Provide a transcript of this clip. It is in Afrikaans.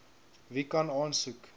wie kan aansoek